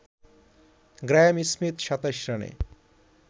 Graeme Smith ২৭ রানে